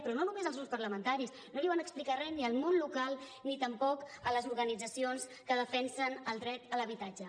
però no només als grups parlamentaris no van explicar re ni al món local ni tampoc a les organitzacions que defensen el dret a l’habitatge